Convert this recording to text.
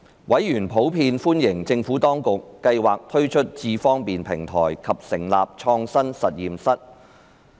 委員普遍歡迎政府當局計劃推出"智方便"平台及成立創新實驗室。